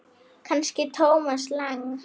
Kannski Thomas Lang.?